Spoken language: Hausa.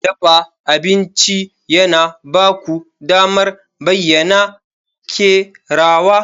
Dafa abinci yana ba ku damar bayyana kerawa.